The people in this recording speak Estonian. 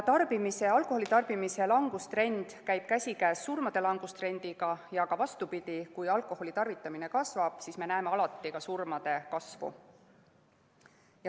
Alkoholitarbimise langustrend käib käsikäes surmade langustrendiga ja ka vastupidi, st kui alkoholitarvitamine kasvab, siis me näeme alati ka surmade arvu kasvu.